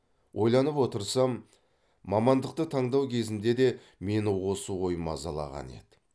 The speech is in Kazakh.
ойланып отырсам мамандықты таңдау кезінде де мені осы ой мазалаған еді